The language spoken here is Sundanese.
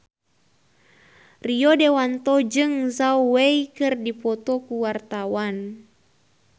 Rio Dewanto jeung Zhao Wei keur dipoto ku wartawan